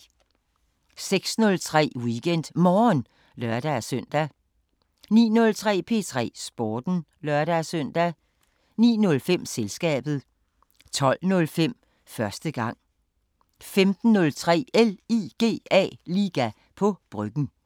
06:03: WeekendMorgen (lør-søn) 09:03: P3 Sporten (lør-søn) 09:05: Selskabet 12:05: Første gang 15:03: LIGA på Bryggen